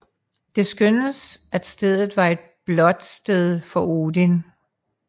Det skønnes at stedet var et blotsted for Odin